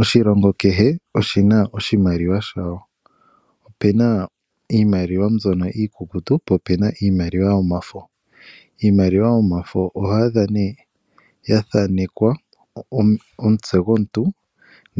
Oshilongo kehe oshi na oshimaliwa shawo. Opena iimaliwa mbyono iikukutu po ope na iimaliwa yomafo. Iimaliwa yomafo oho adha nee yathanekwa omutse gwomuntu